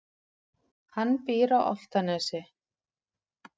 Hann býr á Álftanesi.